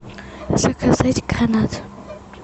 заказать гранат